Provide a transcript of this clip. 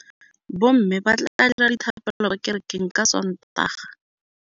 Bommê ba tla dira dithapêlô kwa kerekeng ka Sontaga.